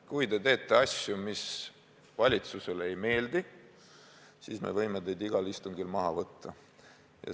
Kui te teete asju, mis valitsusele ei meeldi, siis me võime teid igal istungil maha võtta.